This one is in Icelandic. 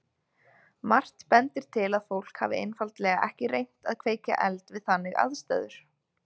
Margt bendir til að fólk hafi einfaldlega ekki reynt að kveikja eld við þannig aðstæður.